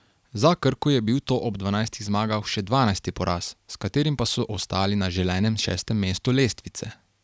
Za Krko je bil to ob dvanajstih zmagah še dvanajsti poraz, s katerim pa so ostali na želenem šestem mestu lestvice.